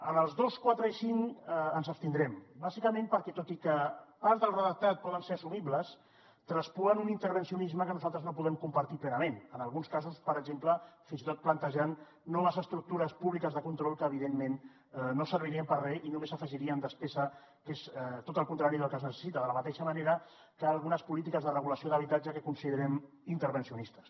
en els dos quatre i cinc ens abstindrem bàsicament perquè tot i que part del redactat pot ser assumible traspuen un intervencionisme que nosaltres no podem compartir plenament en alguns casos per exemple fins i tot plantejant noves estructures públiques de control que evidentment no servirien per a re i només afegirien despesa que és tot el contrari del que es necessita de la mateixa manera que algunes polítiques de regulació d’habitatge que considerem intervencionistes